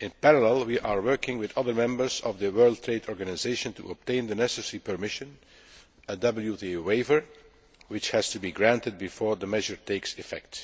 In parallel, we are working with other members of the World Trade Organisation to obtain the necessary permission a WTO waiver which has to be granted before the measure takes effect.